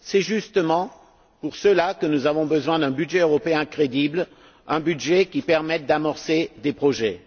C'est justement pour cela que nous avons besoin d'un budget européen crédible, un budget qui permette d'amorcer des projets.